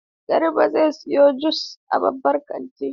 Garba zai siyo jus a babban kanti.